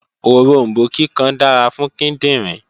Oròmbó kíkan dára fún kíndìnrín